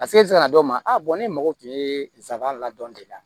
A se ka na dɔw ma a bɔn ne mago tun ye n sabanan la dɔn de la